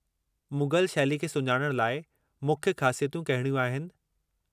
मुग़ल शैली खे सुञाणण लाइ मुख्य ख़ासियतूं कहिड़ियूं आहिनि?